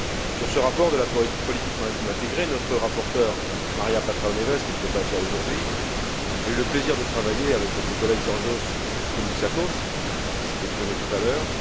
Sur ce rapport de la politique maritime intégrée, notre rapporteure Maria Patrão Neves, qui ne peut pas être là aujourd'hui, a eu le plaisir de travailler avec notre collègue Georgios Koumoutsakos, qui s'est exprimé tout à l'heure.